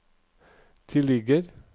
tilligger